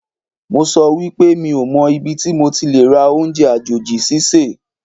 Mo sọ wípé mi ò mọ ibi tí mo ti lè rà oúnjẹ àjòjì sísè